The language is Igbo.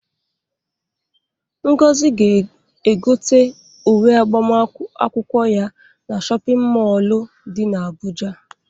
Ngozi ga-egote uwe agbamakwụkwọ ya na shọpịn mọolụ dị n'Abụja.